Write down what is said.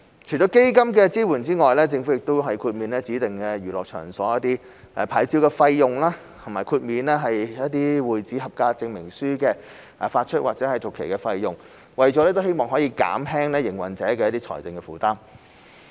除了基金發放的支援外，政府也豁免指定娛樂場所的牌照費用，以及豁免會址合格證明書的發出或續期費用，希望能減輕經營者的財政負擔。